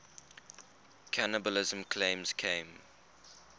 cannibalism claims came